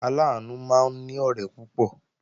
Aláàánú máa ní ọ̀rẹ́ púpọ̀